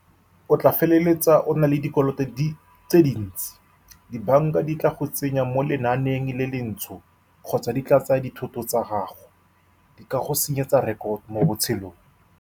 O tla feleletsa o na le dikoloto tse dintsi. Di-bank-a di tla go tsenya mo lenaaneng le le ntsho kgotsa di tla tsaya dithoto tsa gago. Di ka go senyetsa rekoto mo botshelong.